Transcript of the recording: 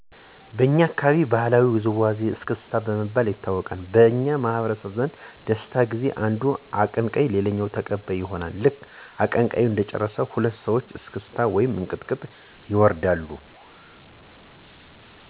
በኛ አካባቢ ባህላዊ ውዝዋዜወች እስክስታ በመባል ይታወቃሉ። በኛ ማህበረሰብ ዘንድ በደስታ ጊዜ አንዱ አቀንቀኝ ሌሎች ተቀባይ ይሆኑና ልክ አቀንቃኙ እንደጨረሰ ሁለት ሰወች እስክታ ወይም እንቅጥቅጥ ይወርዳሉ። ሁሉም በተራ እየገባ ይዘፍናል። እንቅጥቅጥ ሲወርዱ የለያየ ናቸው ከወገብ በላይ ብቻ ወይም መላው አከላቸው ሊቀጠቀጥ ይችላል።